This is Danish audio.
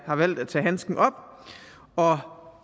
har valgt at tage handsken op og